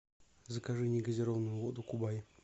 закажи негазированную воду кубань